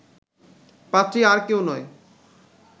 পাত্রী আর কেউ নয়